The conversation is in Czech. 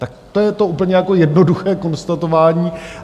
Tak to je to úplně jako jednoduché konstatování.